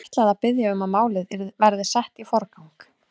Ég ætla að biðja um að málið verði sett í forgang.